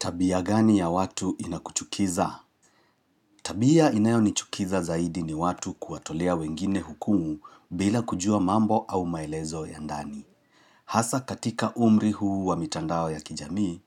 Tabia gani ya watu inakuchukiza? Tabia inayo nichukiza zaidi ni watu kuwatolea wengine hukumu bila kujua mambo au maelezo ya ndani. Hasa katika umri huu wa mitandao ya kijamii,